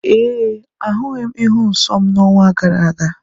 Ee, ahụghị m ịhụ nsọ m n'ọnwa gara aga.